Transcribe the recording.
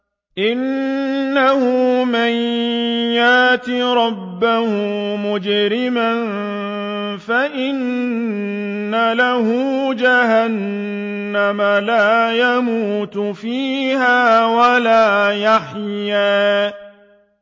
إِنَّهُ مَن يَأْتِ رَبَّهُ مُجْرِمًا فَإِنَّ لَهُ جَهَنَّمَ لَا يَمُوتُ فِيهَا وَلَا يَحْيَىٰ